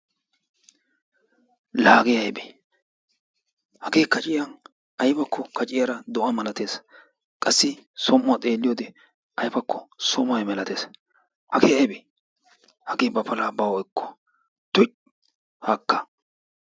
La hagee aybee hagee kaciyan aybakko kaciyaara do7a malatees qassi som7uwa xeelliyoode aybakko so mehe malates. Hagee aybe hagee ba palaa bawu ekko tuy haakka.